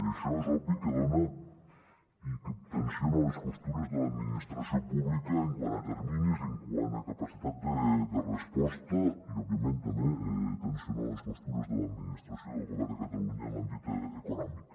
i això és obvi que dona i que tensiona les costures de l’administració pública quant a terminis i quant a capacitat de resposta i òbviament també tensiona les costures de l’administració del govern de catalunya en l’àmbit econòmic